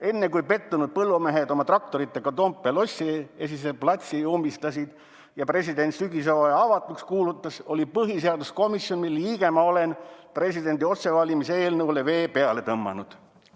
Enne kui pettunud põllumehed oma traktoritega Toompea lossi esise platsi ummistasid ja president sügishooaja avatuks kuulutas, oli põhiseaduskomisjon, mille liige ma olen, presidendi otsevalimise eelnõule vee peale tõmmanud.